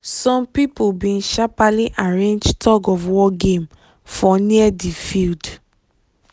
some people bin sharperly arrange tug of war game for near di field